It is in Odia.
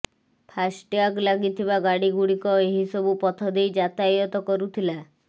ଫାଷ୍ଟ୍ୟାଗ୍ ଲାଗିଥିବା ଗାଡ଼ିଗୁଡ଼ିକ ଏହି ସବୁ ପଥ ଦେଇ ଯାତାୟାତ କରୁଥିଲା